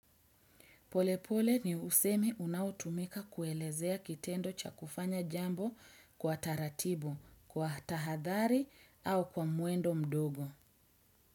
Polepole ni usemi unaotumika kuelezea kitendo cha kufanya jambo kwa taratibu, kwa tahadhari au kwa muendo mdogo.